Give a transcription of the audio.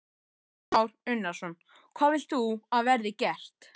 Kristján Már Unnarsson: Hvað vilt þú að verði gert?